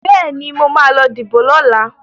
Bẹ́ẹ̀ni, mo ma lọ díbò lọ́la